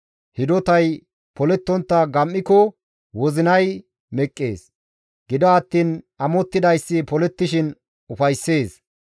Hidotay polettontta gam7iko wozinay meqqees; gido attiin amottidayssi polettishin ufayssees.